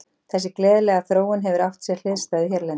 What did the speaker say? Þessi gleðilega þróun hefur átt sér hliðstæðu hérlendis.